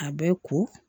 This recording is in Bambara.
A bɛ ko